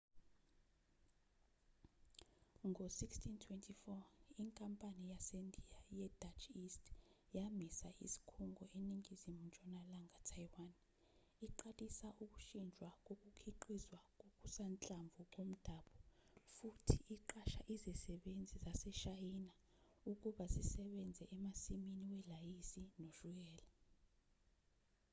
ngo1624,inkampani yasendiya yedutch east yamisa isikhungo eningizimu ntshonalanga taiwan iqalisa ukushintshwa kokukhiqizwa kokusanhlamvu komdabu futhi iqasha izisebenzi zaseshayina ukuba zisebenze emasimini welayisi noshukela